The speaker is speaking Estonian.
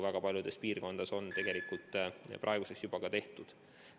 Väga paljudes piirkondades on praeguseks sedagi juba tehtud.